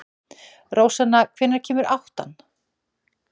Rósanna, hvenær kemur áttan?